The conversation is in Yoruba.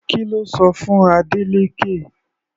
Kí lo sọ fún Adeleke?